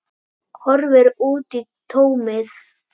Horfir út í tómið.